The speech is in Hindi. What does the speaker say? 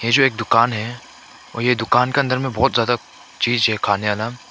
ये जो एक दुकान है और ये दुकान के अंदर में बहौत ज्यादा चीज है खाने वाला।